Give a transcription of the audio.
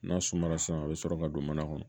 N'a sumara sisan a bɛ sɔrɔ ka don mana kɔnɔ